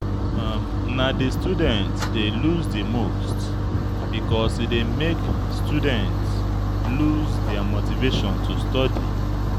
Na di student dy loose di most because e dey make student loose their motivation to study